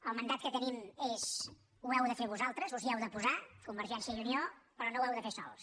el mandat que tenim és ho heu de fer vosaltres us hi heu de posar convergència i unió però no ho heu de fer sols